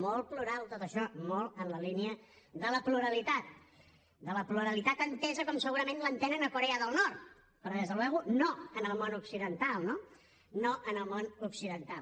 molt plural tot això molt en la línia de la pluralitat de la pluralitat entesa com segurament l’entenen a corea del nord però per descomptat no en el món occidental no en el món occidental